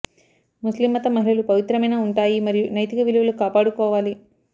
ముస్లిం మతం మహిళలు పవిత్రమైన ఉంటాయి మరియు నైతిక విలువలు కాపాడుకోవాలి